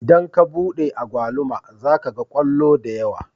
Idan ka buɗe agwaluma zaka ga kwallo da yawa